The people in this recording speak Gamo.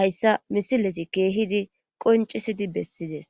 hayssa misilezi keehidi qoncisidi bessides